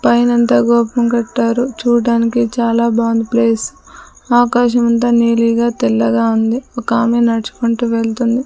పైనంతా గోపం కట్టారు చూడడానికి చాలా బాగుంది ప్లేస్ . ఆకాశమంతా నీలిగా తెల్లగా ఉంది. ఒకామె నడుచుకుంటూ వెళ్తుంది.